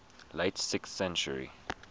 late sixth century